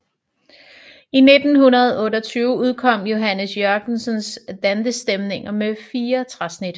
I 1928 udkom Johannes Jørgensens Dantestemninger med fire træsnit